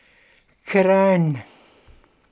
Kranj.